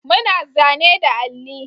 Muna zane da alli